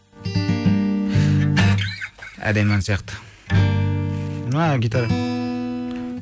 әдемі ән сияқты гитара